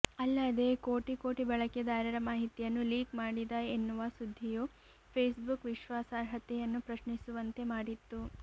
ಅಲ್ಲದೇ ಕೋಟಿ ಕೋಟಿ ಬಳಕೆದಾರರ ಮಾಹಿತಿಯನ್ನು ಲೀಕ್ ಮಾಡಿದ ಎನ್ನುವ ಸುದ್ದಿಯೂ ಫೇಸ್ಬುಕ್ ವಿಶ್ವಾಸಾರ್ಹತೆಯನ್ನು ಪ್ರಶ್ನಿಸುವಂತೆ ಮಾಡಿತ್ತು